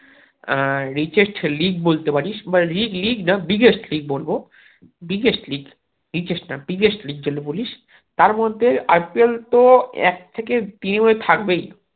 আহ richest league বলতে পারিস বা league leauge the biggest league বলবো biggest leaugebigest না biggest league যদি বলিস তার মধ্যে IPL তো এক থেকে তিন এ থাকবেই